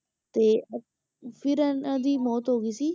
ਤੇ ਫਿਰ ਇਹਨਾਂ ਦੀ ਮੌਤ ਹੋ ਗਈ ਸੀ।